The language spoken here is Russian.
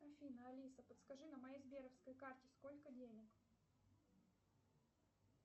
афина алиса подскажи на моей сберовской карте сколько денег